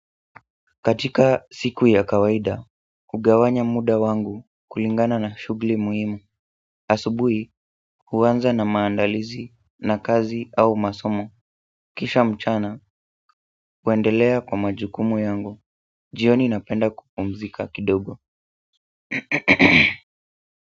Katika siku ya kawaida, ugawanya muda wangu kulingana na shugli muhimu, asubui huanza na maandalizi na kazi au masomo, kisha mchana, huendelea kwa majukumu yangu, jioni napenda kupumzika kidogo.